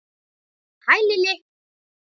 Hæ, Lilli!